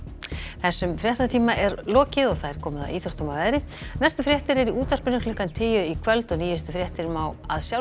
þessum fréttatíma er lokið og komið að íþróttum og veðri næstu fréttir eru í útvarpinu klukkan tíu í kvöld og nýjustu fréttir má